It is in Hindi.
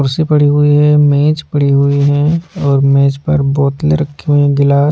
कुर्सी पड़ी हुई है मेज पड़ी हुई है और मेज पर बोतलें रखी हुई हैं गिलास --